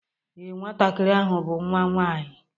Ee, Nwantakịrị ahụ bụ nwa nwaanyị